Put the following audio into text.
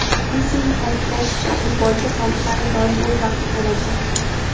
Messining ta’kidlashicha, futbolchi soliqlarni doim o‘z vaqtida to‘lagan.